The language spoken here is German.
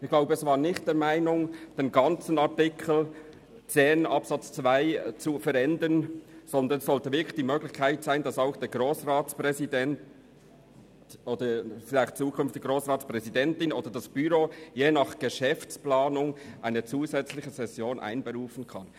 Ich glaube, dass es nicht die Meinung war, den gesamten Artikel 10 Absatz 2 GRG zu verändern, sondern es sollte die Möglichkeit bestehen, dass der Grossratspräsident beziehungsweise künftig allenfalls die Grossratspräsidentin oder das Büro je nach Geschäftsplanung zusätzlich eine Session einberufen kann.